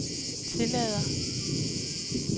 tillader